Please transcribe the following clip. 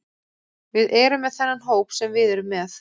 Við erum með þennan hóp sem við erum með.